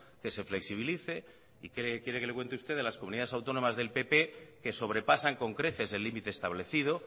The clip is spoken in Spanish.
que se flexibilice y qué quiere que le cuente de las comunidades autónomas del pp que sobrepasan con creces el límite establecido